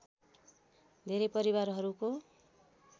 धेरै परिवारहरूको